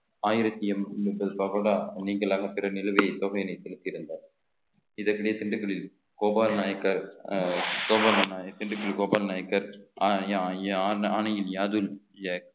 ஆயிரத்தி என்~ முப்பது பக்கோடா நீங்களாக திறமையை தொகையினை செலுத்தியிருந்தார் இதற்கிடையே திண்டுக்கல்லில் கோபால நாயக்கர் கோபால நாயகி திண்டுக்கல் கோபால நாயக்கர் ஆணையின் யாதூன்